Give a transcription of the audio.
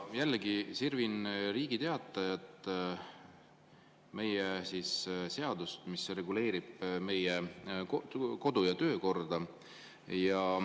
Jällegi sirvin Riigi Teatajas avaldatud seadust, mis reguleerib meie kodu- ja töökorda.